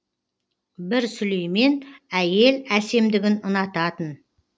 бір сүлеймен әйел әсемдігін ұнататын